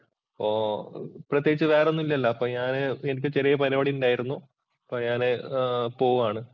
ഓ പ്രത്യേകിച്ച് വേറൊന്നുമില്ലല്ലോ. അപ്പോൾഞാന് എനിക്ക് ചെറിയ പരിപാടിയുണ്ടായിരുന്നു. അപ്പോൾ ഞാന് പോവാണ്.